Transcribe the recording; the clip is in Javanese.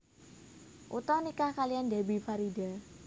Utha nikah kaliyan Debbie Farida